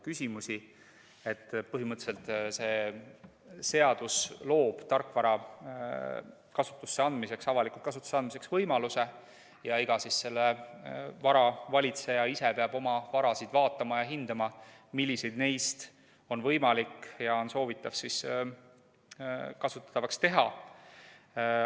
Põhimõtteliselt see seadus loob tarkvara avalikku kasutusse andmiseks võimaluse ja iga vara valitseja ise peab oma varasid vaatama ja hindama, milliseid neist on võimalik ja milliseid soovitakse avalikult kasutatavaks teha.